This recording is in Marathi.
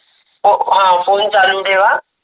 अह फोन चालू ठेवा.